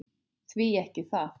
Því ekki það?